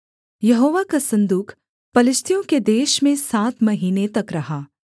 यहोवा का सन्दूक पलिश्तियों के देश में सात महीने तक रहा